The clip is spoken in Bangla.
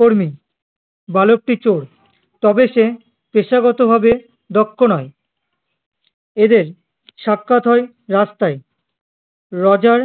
কর্মী, বালকটি চোর তবে সে পেশাগত ভাবে দক্ষ নয় এদের সাক্ষাৎ হয়ে রাস্তায় রোজার